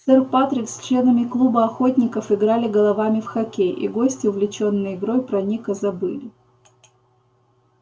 сэр патрик с членами клуба охотников играли головами в хоккей и гости увлечённые игрой про ника забыли